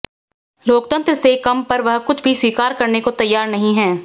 लोकतंत्र से कम पर वह कुछ भी स्वीकार करने को तैयार नहीं है